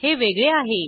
हे वेगळे आहे